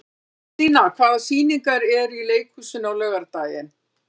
Gíslína, hvaða sýningar eru í leikhúsinu á laugardaginn?